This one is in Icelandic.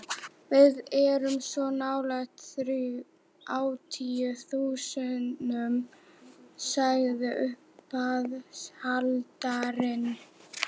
Við erum svo nálægt þrjátíu þúsundunum, sagði uppboðshaldarinn.